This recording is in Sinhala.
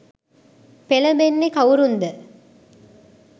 පෙළඹෙන්නේ කවුරුන්ද?